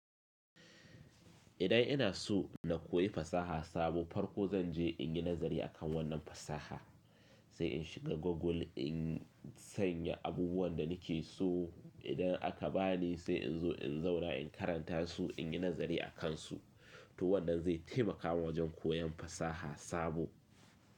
Idan ina so na koyi fasaha sabo farko zan je in yi nazari akan wannan fasaha, sai in shiga Google in sanya abubuwan da nake so. Idan aka bani sai in zo in zauna in karanta su, in yi nazari a kansu. To wannan zai taimaka mun wajen koyan fasaha sabo.